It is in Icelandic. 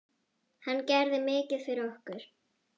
Hann gerir mikið fyrir okkur.